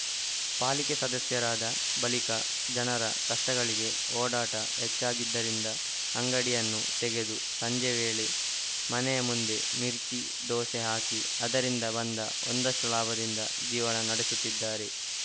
ಪಾಲಿಕೆ ಸದಸ್ಯರಾದ ಬಳಿಕ ಜನರ ಕಷ್ಟಗಳಿಗೆ ಓಡಾಟ ಹೆಚ್ಚಾಗಿದ್ದರಿಂದ ಅಂಗಡಿಯನ್ನು ತೆಗೆದು ಸಂಜೆ ವೇಳೆ ಮನೆಯ ಮುಂದೆ ಮಿರ್ಚಿ ದೋಸೆ ಹಾಕಿ ಅದರಿಂದ ಬಂದ ಒಂದಷ್ಟುಲಾಭದಿಂದ ಜೀವನ ನಡೆಸುತ್ತಿದ್ದಾರೆ